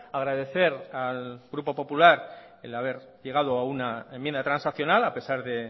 agradecer al grupo popular el haber llegado a una enmienda transaccional a pesar de